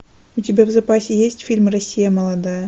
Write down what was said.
у тебя в запасе есть фильм россия молодая